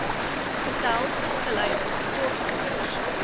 getal opgeleide sportleiers